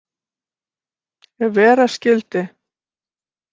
Ef vera skyldi.